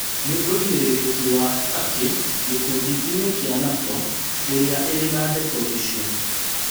Nĩ wũigĩrĩrĩki wa Turkey gĩkundi inĩ kĩa NATO ĩrĩa ĩrĩ na ndeto icio